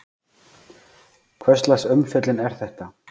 Hvurslags umfjöllun er þetta?